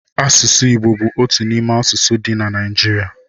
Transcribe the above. Asụsụ Igbo bú otu n'ime asụsụ dị na Naijiria